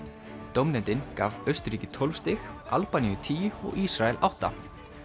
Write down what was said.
dómnefndin gaf Austurríki tólf stig Albaníu tíu og Ísrael átta